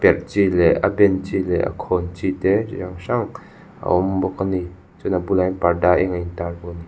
perh chi leh a ben chi leh a khawn chi te a awm bawk a ni chuan a bulah hian parda eng intar--